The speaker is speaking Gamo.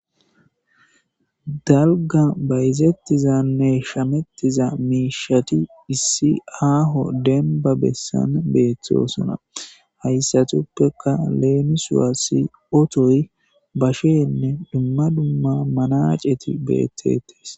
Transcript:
Dalga bayizettizanne shamettiza miishati issi aaho denba bessan beeththosona hayssatuppeka leenusuwa siotoy bashenne dumma dumma manaceti beettetes.